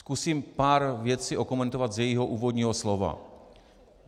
Zkusím pár věcí okomentovat z jejího úvodního slova.